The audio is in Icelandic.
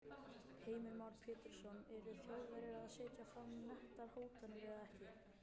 Heimir Már Pétursson: Eru Þjóðverjar að setja fram nettar hótanir eða ekki?